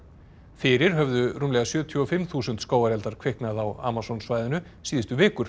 fyrir höfðu rúmlega sjötíu og fimm þúsund skógareldar kviknað á Amazon svæðinu síðustu vikur